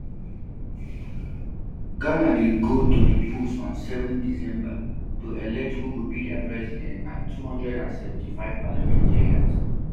ghana dey go to di polls on seven december to elect who go be dia president and two hundred and seventy-five parliamentarians